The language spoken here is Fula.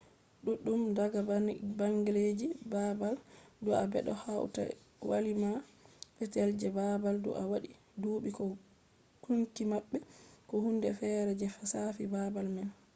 duddum daga bangleji babal dua bedo hauta walima petel je babal dua wadi dubi ko gunki mabbe ko hunde fere je shafi babal man